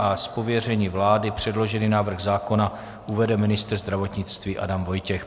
Z pověření vlády předložený návrh zákona uvede ministr zdravotnictví Adam Vojtěch.